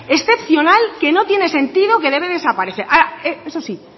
excepcional que no tiene sentido que debe desaparecer ahora eso sí